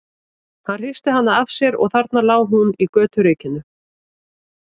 Hann hristi hana af sér og þarna lá hún í göturykinu.